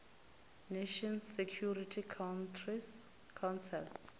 nations security council